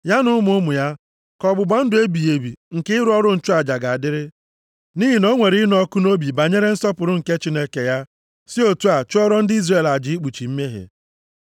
Ya na ụmụ ụmụ ya ka ọgbụgba ndụ ebighị ebi nke ịrụ ọrụ nchụaja ga-adịrị, nʼihi na o nwere ịnụ ọkụ nʼobi banyere nsọpụrụ nke Chineke ya, si otu a chụọrọ ndị Izrel aja ikpuchi mmehie.”